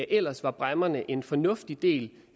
ellers var bræmmerne en fornuftig del